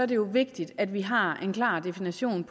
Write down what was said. det jo vigtigt at vi har en klart definition